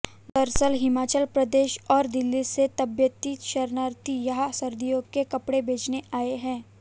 दरअसल हिमाचल प्रदेश और दिल्ली से तिब्बती शरणार्थी यहां सर्दियों के कपड़े बेचने आए हैं